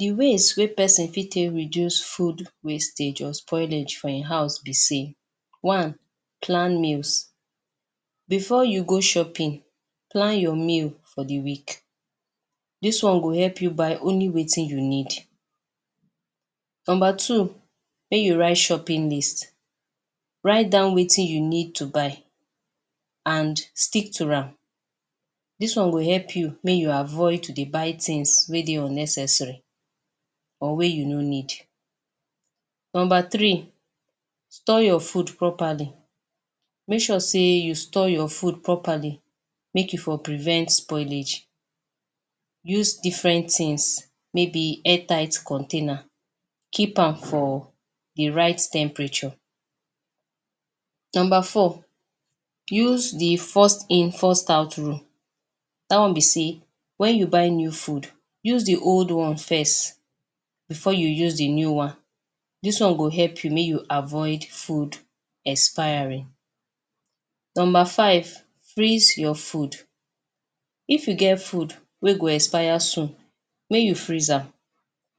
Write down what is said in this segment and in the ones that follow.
Di ways wey pesin fit reduce food wastage or spoilage for im House be say, one, plan meals. Bifor you go shopping, plan your meal for di week dis one go help you buy only wetin you need. Number two make you write shopping list, write down wetin you need to buy and stick to am dis one go help you make you avoid to dey buy tins wey dey unnecessary and wey you no need. Number three store your food properly, make sure say you store your food properly make you for prevent spoilage, use diffren tins maybe airtight container keep am for di right temperature. Number 4, use di first in first out rule, dat one be say wen you buy new foods use di old one first bifor you use di new one dis one go help you make you avoid food expiring. Number five, freeze your foods. If you get food wey go expire soon, make you freeze am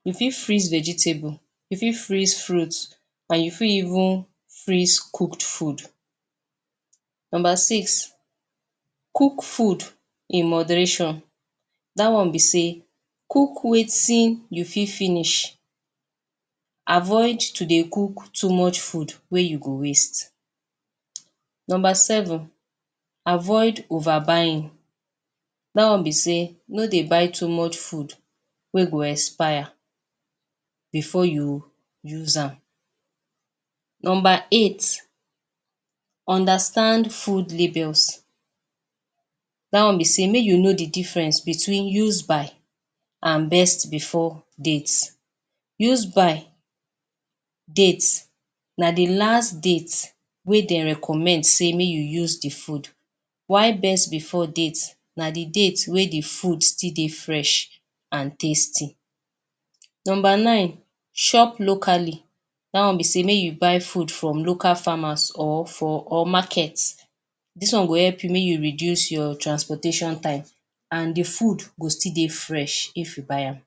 you fit freeze vegetables, you fit freeze fruits. Or you fit even freeze cooked food. Number six cook food in moderation. Dat one be say cook wetin you fit finish, avoid to dey cook too much food wey you go waste. Number seven, avoid over buying. Dat one be say no dey buy too much food wey go expire bifor you use am. Number eight understand food labels, dat one be say make you know di diffrens between use by, and best bifor date. Use by date, na Di last date, wey dem recommend say make you use di food. While best bifor date, na Di date wey di food still dey fresh and tasty. Number nine, shop locally. Dat be sat make you by food from local farmers or for markets dis one go help you make you reduce your transportation time and di food go still dey fresh if you buy am.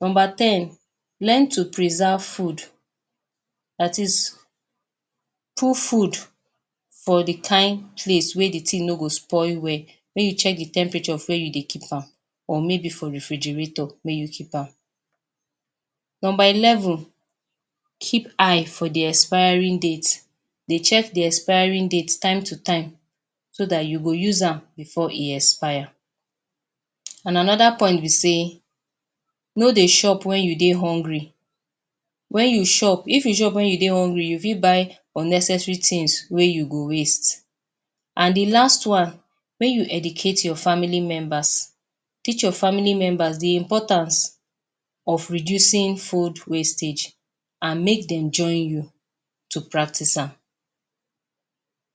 Number ten learn to preserve food dat is put food for di kain place wey food no go spoil well make you check di temperature of di place you dey keep am or maybe for refrigerator mey you keep am. Number eleven keep eye for di expiring date dey check di expiring date time to time so dat you go use am bifor e expire. And anoda point be say no dey shop wen you dey hungry if you shop wen you dey hungry, you fit buy unnecessary tins wey you go waste and di last one, mey you educate your family members, teach your family members di importance of reducing food wastage and make dem join you to practice am.